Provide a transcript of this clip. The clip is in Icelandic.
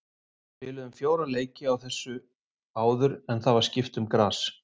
Við spiluðum fjóra leiki á þessu áður en það var skipt um gras.